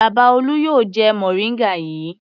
Bàbá Olú yóò jẹ mòríngà yìí.